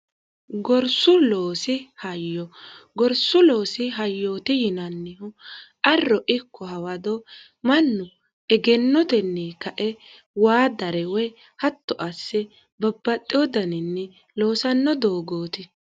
ggorsuloosi hayyooti yinannihu arro ikko hawado mannu egennotenni kae waa darewe hatto asse babbaxxeoddaninni loosanno doogooti